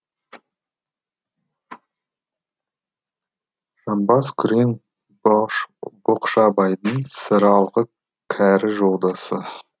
жамбас күрең боқшабайдың сыралғы кәрі жолдасы